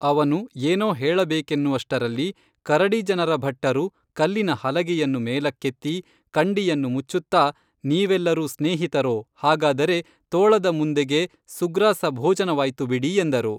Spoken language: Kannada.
ಅವನು ಏನೋ ಹೇಳಬೇಕೆನ್ನುವಷ್ಟರಲ್ಲಿ ಕರಡಿ ಜನರ ಭಟ್ಟರು ಕಲ್ಲಿನ ಹಲಗೆಯನ್ನು ಮೇಲಕ್ಕೆತ್ತಿ ಕಂಡಿಯನ್ನು ಮುಚ್ಚುತ್ತಾ ನೀವೆಲ್ಲರೂ ಸ್ನೇಹಿತರೋ ಹಾಗಾದರೆ ತೋಳದ ಮಂದೆಗೆ ಸುಗ್ರಾಸ ಭೋಜನ ವಾಯ್ತು ಬಿಡಿ ಎಂದರು